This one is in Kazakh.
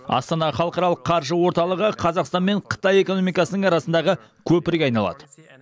астана халықаралық қаржы орталығы қазақстан мен қытай экономикасының арасындағы көпірге айналады